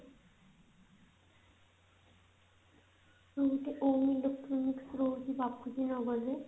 ଆଉ ଗୋଟେ electronics ରହୁଛି ବାପୁଜୀ ନଗରରେ